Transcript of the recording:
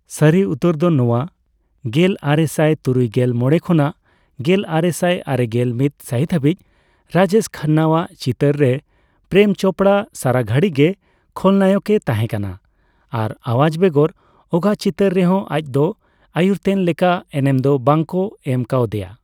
ᱥᱟᱨᱤ ᱩᱛᱟᱹᱨ ᱫᱚ ᱱᱚᱣᱟ, ᱜᱮᱞ ᱟᱨᱮ ᱥᱟᱭᱛᱩᱨᱩᱭᱜᱮᱞ ᱢᱚᱲᱮ ᱠᱷᱚᱱᱟᱜ ᱜᱮᱞᱟᱨᱮᱥᱟᱭ ᱟᱨᱮᱜᱮᱞ ᱢᱤᱛ ᱥᱟ.ᱦᱤᱛ ᱦᱟᱹᱵᱤᱡ ᱨᱟᱡᱮᱥ ᱠᱷᱟᱱᱱᱟᱣᱟᱜ ᱪᱤᱛᱟᱹᱨ ᱨᱮ, ᱯᱨᱮᱢ ᱪᱳᱯᱲᱟ ᱥᱟᱨᱟᱜᱷᱟᱲᱤ ᱜᱮ ᱠᱷᱚᱞ ᱱᱟᱭᱚᱠ ᱮ ᱛᱟᱦᱮᱸ ᱠᱟᱱᱟ ᱟᱨ ᱟᱣᱟᱡᱽ ᱵᱮᱜᱚᱨ ᱚᱠᱟ ᱪᱤᱛᱟᱹᱨ ᱨᱮᱦᱚᱸ ᱟᱡᱫᱚ ᱟᱭᱩᱨᱛᱮᱱ ᱞᱮᱠᱟ ᱮᱱᱮᱢ ᱫᱚ ᱵᱟᱝ ᱠᱚ ᱮᱢ ᱠᱟᱣᱫᱮᱭᱟ ᱾